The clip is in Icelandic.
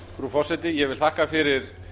frú forseti ég vil þakka fyrir